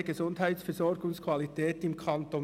«Stationäre Gesundheitsversorgungsqualität im Kanton